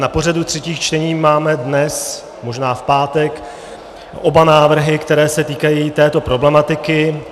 Na pořadu třetích čtení máme dnes, možná v pátek, oba návrhy, které se týkají této problematiky.